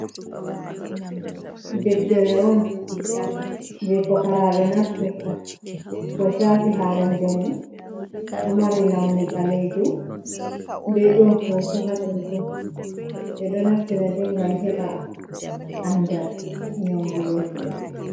Ɗeftere on je pukaraɓe naftirta ko shaafi hala jamu o mari launi ɓalejum be ɗon hoto hatonton ɓe ɗo naftira de gam heba andal nyaundurgo himɓe.